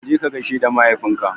Kaje ka gaishe da mahaifin ka